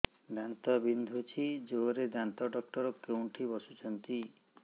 ଦାନ୍ତ ବିନ୍ଧୁଛି ଜୋରରେ ଦାନ୍ତ ଡକ୍ଟର କୋଉଠି ବସୁଛନ୍ତି